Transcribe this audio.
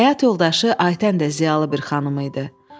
Həyat yoldaşı Aytən də ziyalı bir xanım idi.